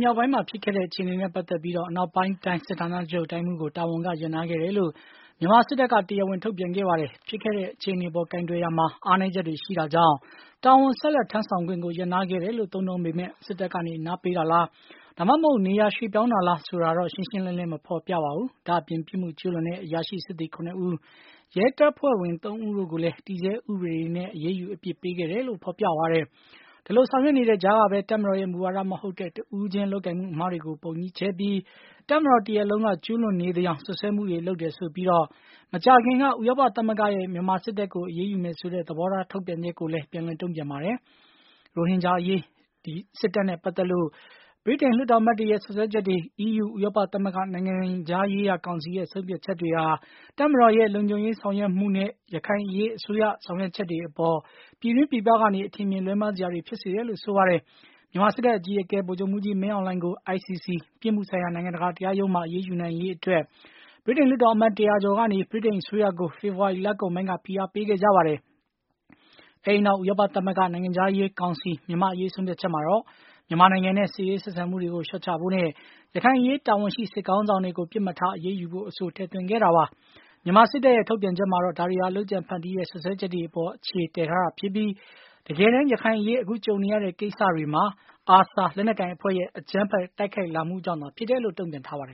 မြောက်ပိုင်းဖြစ်ခဲ့တဲ့အခြေအနေနဲ့ပတ်သက်ပြီး အနောက်ပိုင်း တိုင်းစစ်ဌာနချုပ် တိုင်းမှူးကို တာဝန်က ရပ်နားခဲ့တယ်လို့ မြန်မာစစ်တပ်က တရားဝင် ထုတ်ပြန်ခဲ့ပါတယ်။ ဖြစ်ခဲ့တဲ့အခြေအနေအပေါ် ကိုင်တွယ်ရာမှာ အားနည်းချက်တွေရှိတာကြောင့် တာဝန်ဆက်လက်ထမ်းဆောင်ခွင့်ကို ရပ်နားခဲ့တယ်လို့ သုံးနှုန်းပေမယ့်၊ စစ်တပ်ကနေ အနားပေးတာလား ဒါမှမဟုတ် နေရာပြောင်းရွှေ့တာလားဆိုတာတော့ ရှင်းရှင်းလင်းလင်း မဖော်ပြပါဘူး။ ဒါ့အပြင် ပြစ်မှုကျူးလွန်တဲ့ အရာရှိ စစ်သည် ၇ ဦး၊ ရဲတပ်ဖွဲ့ဝင် ၃ ဦးတို့ကိုလည်း တည်ဆဲ ဥပဒေတွေနဲ့ အရေးယူအပြစ်ပေးခဲ့တယ်လို့ ဖော်ပြပါတယ်။ ဒီလို ဆောင်ရွက်နေတဲ့ကြား ကပဲ တပ်မတော်ရဲ့ မူဝါဒမဟုတ်တဲ့ တဦးချင်း လုပ်ကိုင်မှုအမှားတွေကို ပုံကြီးချဲ့ပြီး၊ တပ်မတော်တရပ်လုံးက ကျူးလွန်နေသယောင်စွပ်စွဲမှုတွေလုပ်တယ်ဆိုပြီး မကြာခင်က ဥရောပသမဂ္ဂရဲ့ မြန်မာစစ်တပ်ကို အရေးယူမယ်ဆိုတဲ့ သဘောထားထုတ်ပြန်ချက်ကို ပြန်လည်တုံ့ပြန်ပါတယ်။ ရိုဟင်ဂျာအရေး မြန်မာစစ်တပ်နဲ့ပတ်သက်လို့ ဗြိတိန်လွှတ်တော်အမတ်တွေရဲ့ စွပ်စွဲချက်တွေ အီးယူ ဥရောပသမဂ္ဂ နိုင်ငံခြားရေးရာကောင်စီရဲ့ ဆုံးဖြတ်ချက်တွေဟာ၊ မြန်မာ့တပ်မတော်ရဲ့ လုံခြုံရေးဆောင်ရွက်မှုနဲ့ ရခိုင်အရေး အစိုးရဆောင်ရွက်ချက်တွေ အပေါ် ပြည်တွင်းပြည်ပကနေ အထင်အမြင်လွဲမှားစရာတွေဖြစ်စေတယ်လို့ဆိုပါတယ်။ မြန်မာစစ်တပ်အကြီးအကဲ ဗိုလ်ချုပ်မှုးကြီးမင်းအောင်လှိုင်ကို ICC ပြစ်မှုဆိုင်ရာနိုင်ငံတကာ ရုံးမှာ အရေးယူနိုင်ရေးအတွက် ဗြိတိန်လွှတ်တော်အမတ် တရာကျော်ကနေ ဗြိတိန်အစိုးရကို ဖေဖော်ဝါရီလကုန်ပိုင်းက ဖိအားပေးခဲ့ကြပါတယ်။ အဲဒီနောက် ဥရောပသမဂ္ဂ နိုင်ငံခြားရေးကောင်စီ မြန်မာ့အရေးဆုံးဖြတ်ချက်မှာတော့ မြန်မာနိုင်ငံနဲ့ စစ်ရေးဆက်ဆံမှုတွေကို လျော့ချဖို့နဲ့ ရခိုင်အရေးတာဝန်ရှိ စစ်ခေါင်းဆောင်တွေကို ပစ်မှတ်ထားအရေးယူဖို့ အဆိုကို ထည့်သွင်းခဲ့တာပါ။ မြန်မာစစ်တပ်ရဲ့ ထုတ်ပြန်ချက်မှာတော့ ဒါတွေဟာ လုပ်ကြံဖန်တီးတဲ့ စွပ်စွဲချက်တွေအပေါ် အခြေတည်ထားတာဖြစ်ပြီး၊ တကယ်တမ်း ရခိုင်အရေးအခုကြုံနေရတဲ့ကိစ္စတွေ၄မှာ ARSA လက်နက်ကိုင်အဖွဲ့ရဲ့ အကြမ်းဖက်တိုက်ခိုက်လာမှုကြောင့်သာဖြစ်တယ်လို့ တုံ့ပြန်ပါတယ